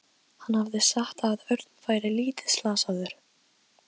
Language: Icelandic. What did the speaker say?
Á bara eina ósk og hefur aldrei átt neina aðra.